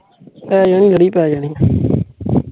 ਪੈ ਜਾਣੀ ਏ ਲੜੀ ਪੈ ਜਾਣੀ ਏ